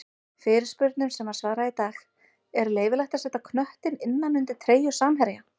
Fyrirspurnum sem var svarað í dag:-Er leyfilegt að setja knöttinn innan undir treyju samherja?